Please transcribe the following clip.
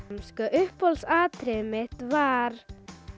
uppáhalds atriðið mitt var